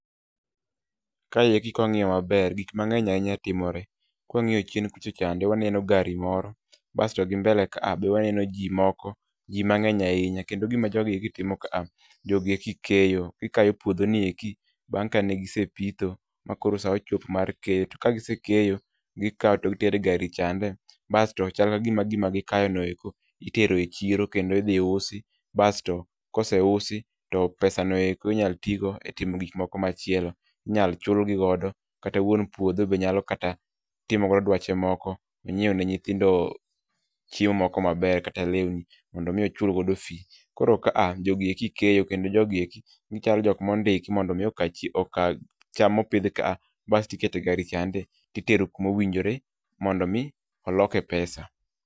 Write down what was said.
Kaeki ka wang'iyo maber, gik mang'eny ne nya timore. Ka wang'iyo chien kucho chande waneno gari moro, basto gi mbele ka a be wanen ji moko, ji mang'eny ahinya kendo gima jogi gitimo ka a, jogi eki keyo. Gikayo puodho ni eki bang' ka ne gisepitho ma koro sa ochopo mar keyo, to kagise keyo, gikao to gitere e gari chande. Basto chal ka gima gikayo no eko itero e chiro kendo idhi usi basto kose usi to pesa no eko inyal ti go itimo gik moko machielo. Inyal chulgi godo kata wuon puodho be nyalo kata timo go duache mamoko, ne nyieo ne nyithindo chiemo moko maber kata lewni, mondo mi ochul godo fee. Koro ka a jogi eki keyo kendo jogi eki, gichalo jok ma ondiki mondo mi chie oka cham ma opidh ka a basto iketo e gari chande to itero kuma owinjore mondo mi oloke pesa.